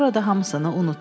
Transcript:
Sonra da hamısını unutdu.